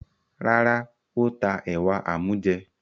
Rárá, ó ta ẹ̀wà amújẹ.